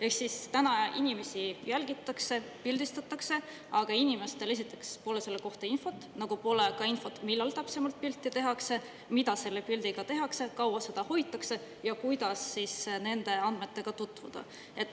Ehk siis täna inimesi jälgitakse, pildistatakse, aga inimestel esiteks pole selle kohta infot, nagu pole ka infot, millal täpsemalt pilte tehakse, mida selle pildiga tehakse, kaua seda hoitakse ja kuidas nende andmetega tutvuda.